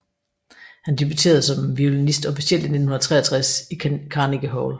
Han debuterede som violinist officielt i 1963 i Carnegie Hall